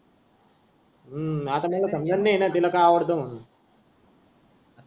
हु आता मला समजत नाही ना तिला काय आवडत मानून